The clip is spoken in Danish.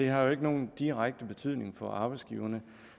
har jo ikke nogen direkte betydning for arbejdsgiverne